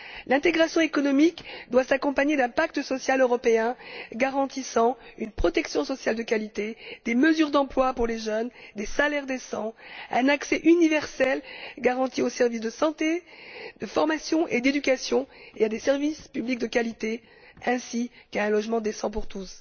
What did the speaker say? L'intégration économique doit s'accompagner d'un pacte social européen garantissant une protection sociale de qualité, des mesures d'emploi pour les jeunes, des salaires décents, un accès universel garanti aux services de santé, de formation et d'éducation et à des services publics de qualité ainsi qu'à un logement décent pour tous.